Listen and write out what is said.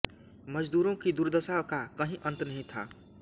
मजदूरों की दुर्दशा का कहीं अंत नहीं था